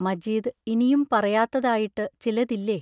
മജീദ് ഇനിയും പറയാത്തതായിട്ടു ചിലതില്ലേ?